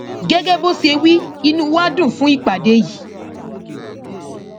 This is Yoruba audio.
gẹgẹ bó ṣe wí inú wa dùn fún ìpàdé yìí